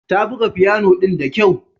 Ta buga fiyano ɗin da kyau.